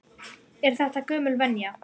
Er þetta gömul venja?